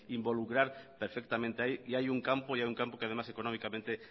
involucrar perfectamente ahí y hay un campo un campo que además económicamente